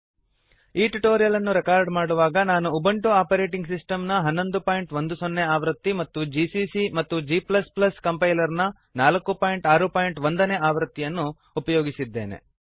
ಈ ಟ್ಯುಟೋರಿಯಲ್ ಅನ್ನು ರೆಕಾರ್ಡ್ ಮಾಡುವಾಗ ನಾನು ಉಬುಂಟು ಆಪರೇಟಿಂಗ್ ಸಿಸ್ಟಮ್ ನ 1110 ನೇ ಆವೃತ್ತಿ ಮತ್ತು ಜಿಸಿಸಿ ಮತ್ತು g ಕಂಪೈಲರ್ ನ 461 ನೇ ಆವೃತ್ತಿಯನ್ನು ಅನ್ನು ಉಪಯೋಗಿಸಿದ್ದೇನೆ